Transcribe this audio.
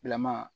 Bilama